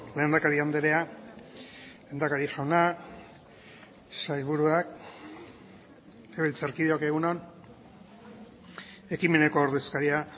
lehendakari andrea lehendakari jauna sailburuak legebiltzarkideok egun on ekimeneko ordezkaria